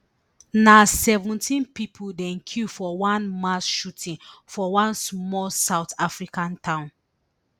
na seventeen pipo dem kill for one mass shooting for one small south african town